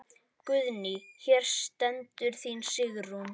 Guðný: Hér stendur þín Sigrún?